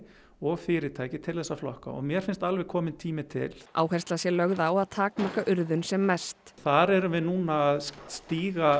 og fyrirtæki til að flokka og mér finnst alveg kominn tími til áhersla sé lögð á að takmarka urðun sem mest þar erum við núna að stíga